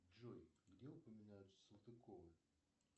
джой где упоминаются салтыковы